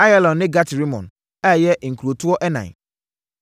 Ayalon ne Gat-Rimon, ɛyɛ nkurotoɔ ɛnan.